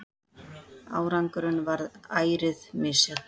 Árangurinn varð ærið misjafn.